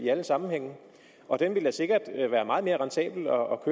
alle sammenhænge og den ville da sikkert være meget mere rentabel og